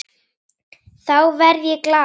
Þá verð ég glaður.